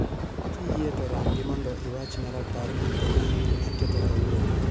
Kiyie to rangi mondo iwachna rapar duto ma aketo kawuono.